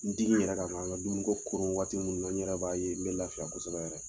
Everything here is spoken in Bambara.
N digi in yɛrɛ kan n ka dumuni ko koron waati minnu na n yɛrɛ ba ye n bɛ lafiya kosɛbɛ yɛrɛ